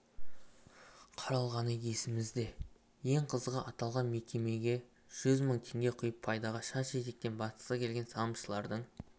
қаралғаны есімізде ең қызығы аталған мекемеге жүз мың теңге құйып пайдаға шаш-етектен батқысы келген салымшылардың